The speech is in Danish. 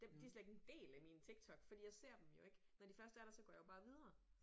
Dem de slet ikke en del af min TikTok fordi jeg ser dem jo ikke når de først er der så går jeg jo bare videre